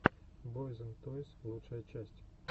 бойз энд тойс лучшая часть